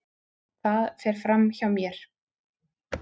Það fer fram hjá mér.